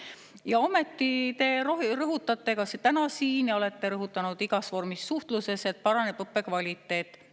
Ja ometi te rõhutasite ka täna siin ja olete rõhutanud igas vormis suhtluses, et paraneb õppe kvaliteet.